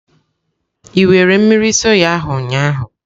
Ị were mmiri soya ahụ ụnyahụ?